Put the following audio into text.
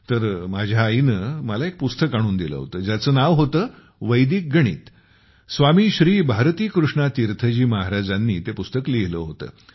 तर माझ्या आईने मला एक पुस्तक आणून दिले ज्याचे नाव होते वैदिक गणित । स्वामी श्री भारतीकृष्णा तीर्थ जी महाराजांनी ते पुस्तक लिहिले होते